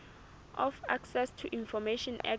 of access to information act